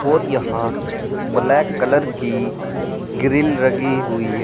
और यहां black colour की ग्रिल लगी हुई है।